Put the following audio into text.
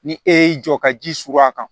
Ni e y'i jɔ ka ji surun a kan